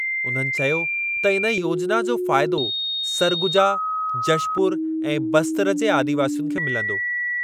उन्हनि चयो त इन योजिना जो फ़ाइदो सरगुजा, जशपुर ऐं बस्तरजे आदिवासियुनि खे मिलंदो।